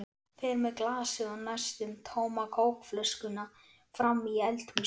Fer með glasið og næstum tóma kókflöskuna fram í eldhús.